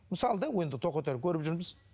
мысалы да енді тоқетерін көріп жүрміз